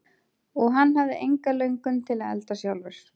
Og hann hafði enga löngun til að elda sjálfur.